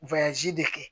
de kɛ